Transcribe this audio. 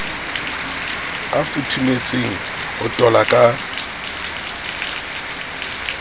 a futhumetseng ho tola ka